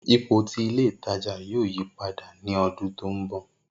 Ipo ti ile itaja yoo yipada ni ọdun to nbọ.